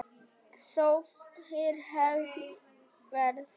Þó fyrr hefði verið.